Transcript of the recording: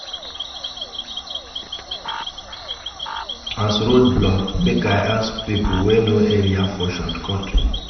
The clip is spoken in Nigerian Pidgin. As road block, make I ask pipo wey know area for shortcut.